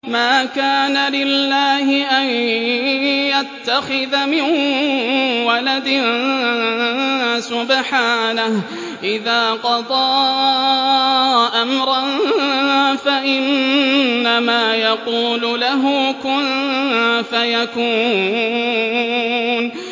مَا كَانَ لِلَّهِ أَن يَتَّخِذَ مِن وَلَدٍ ۖ سُبْحَانَهُ ۚ إِذَا قَضَىٰ أَمْرًا فَإِنَّمَا يَقُولُ لَهُ كُن فَيَكُونُ